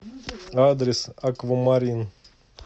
адрес аквамарин